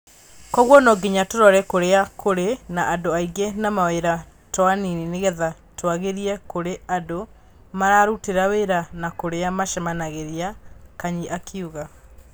Kwoguo no nginya tũrore kũrĩa kũrĩ na andũ aingĩ na mawĩra taoniinĩ nĩgetha tũagĩrie kũrĩa andũ, mararutĩra wĩra na kũrĩa macemanagĩria." Kanyi akiuga.